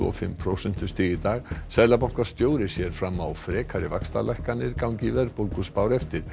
fimm prósentustig í dag seðlabankastjóri sér fram á frekari vaxtalækkanir gangi verðbólguspár eftir